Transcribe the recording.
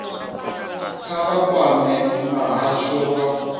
kha vha kwame muhasho wa